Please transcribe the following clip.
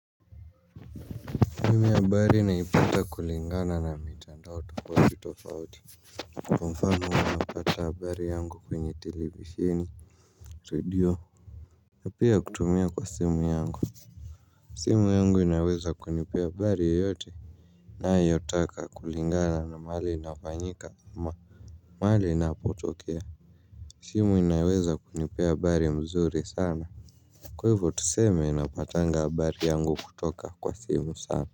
Mimi habari naipata kulingana na mitandao tofauti tofauti kwa mfano napata habari yangu kwenye televisheni redio. Na pia kutumia kwa simu yangu simu yangu inaweza kunipea habari yoyote nayotaka kulingana na mahali inafanyika mahali inapotokea simu inaweza kunipea habari mzuri sana. Kwa hivyo tuseme napatanga habari yangu kutoka kwa simu sana.